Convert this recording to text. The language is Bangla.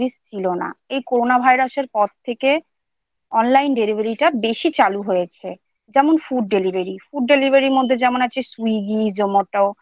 ছিল না। এই Corona virus এর পর থেকেOnline Delivery টা বেশী চালু হয়েছে৷ যেমন Food Delivery IFood Delivery র মধ্যে যেমন আছে Swiggy Zomato ।